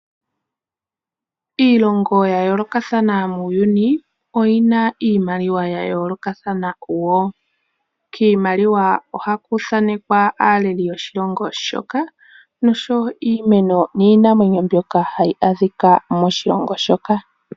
Iilongo ya yoolokathana muuyuni oyina iimaliwa ya yoolokathana woo . Kiimaliwa ohaku thanekwa aaleli yoshilongo shoka oshowo iimeno niinamwenyo mbyoka hayi adhika moshilongo shoka.